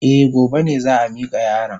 Eh, gobe ne za a mika yaron.